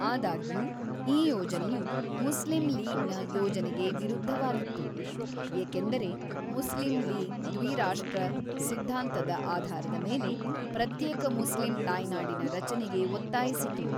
ಆದಾಗ್ಯೂ, ಈ ಯೋಜನೆಯು ಮುಸ್ಲಿಂ ಲೀಗ್‌ನ ಯೋಜನೆಗೆ ವಿರುದ್ಧವಾಗಿತ್ತು, ಏಕೆಂದರೆ ಮುಸ್ಲಿಂ ಲೀಗ್‌ ದ್ವಿ-ರಾಷ್ಟ್ರ ಸಿದ್ಧಾಂತದ ಆಧಾರದ ಮೇಲೆ ಪ್ರತ್ಯೇಕ ಮುಸ್ಲಿಂ ತಾಯ್ನಾಡಿನ ರಚನೆಗೆ ಒತ್ತಾಯಿಸಿತು.